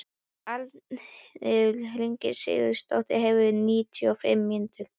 Arnfinnur, hringdu í Sigursteindór eftir níutíu og fimm mínútur.